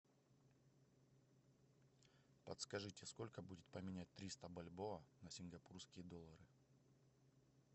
подскажите сколько будет поменять триста бальбоа на сингапурские доллары